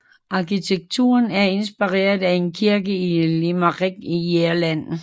Arkitekturen er inspireret af en kirke i Limerick i Irland